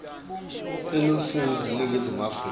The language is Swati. eluntfu yaseningizimu afrika